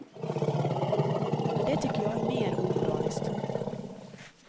Men det tycker jag är mer omoraliskt.